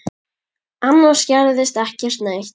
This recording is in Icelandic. Annars gerðist ekki neitt.